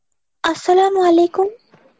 আস-সালামু আলাইকুম।